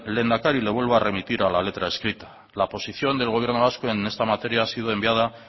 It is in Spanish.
lehendakari le vuelvo a remitir a la letra escrita la posición del gobierno vasco en esta materia ha sido enviada